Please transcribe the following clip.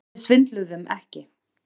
Við svindluðum ekki